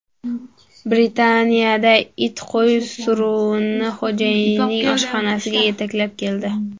Britaniyada it qo‘y suruvini xo‘jayinining oshxonasiga yetaklab keldi .